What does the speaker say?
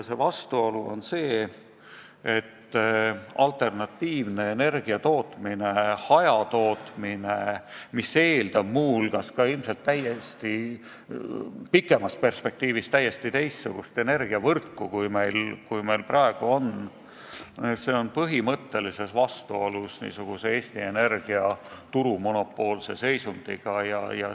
See vastuolu on see, et alternatiivne energiatootmine, hajatootmine, mis eeldab muu hulgas ilmselt pikemas perspektiivis täiesti teistsugust energiavõrku, kui meil praegu on, on põhimõttelises vastuolus Eesti Energia turumonopoolse seisundiga.